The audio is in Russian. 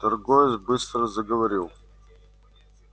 торговец быстро заговорил